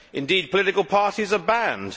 Indeed, political parties are banned.